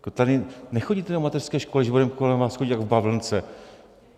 Tady nechodíte do mateřské školy, že budeme kolem vás chodit jak v bavlnce.